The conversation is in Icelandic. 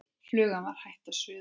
Flugan var hætt að suða.